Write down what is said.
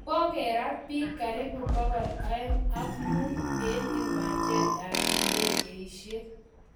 kokerat bik karibu pokol Ang mut eng iwanjet ap indegeishek